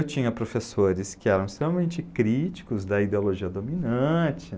Eu tinha professores que eram extremamente críticos da ideologia dominante